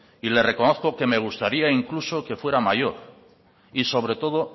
y le reconozco que me gustaría incluso que fuera mayor y sobre todo